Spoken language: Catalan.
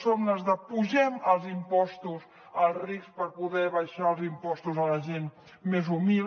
som les d’ apugem els impostos als rics per poder abaixar els impostos a la gent més humil